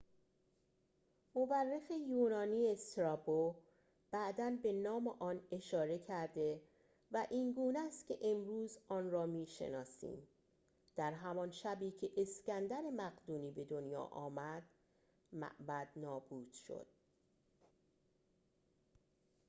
مورخ یونانی استرابو بعداً به نام آن اشاره کرده و اینگونه است که امروزه آن را می‌شناسیم در همان شبی که اسکندر مقدونی به دنیا آمد معبد نابود شد